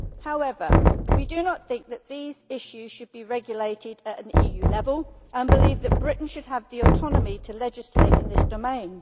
However, we do not think that these issues should be regulated at an EU level, and we believe that Britain should have the autonomy to legislate in this domain.